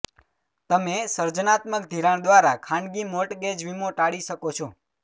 તમે સર્જનાત્મક ધિરાણ દ્વારા ખાનગી મોર્ટગેજ વીમો ટાળી શકો છો